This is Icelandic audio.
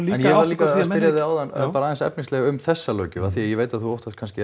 en ég var líka að spyrja þig áðan bara aðeins efnislega um þessa löggjöf af því að ég veit að þú óttast kannski